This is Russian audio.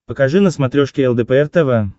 покажи на смотрешке лдпр тв